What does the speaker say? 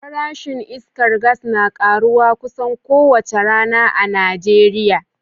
Farashin iskar gas na karuwa kusan kowace rana a Najeriya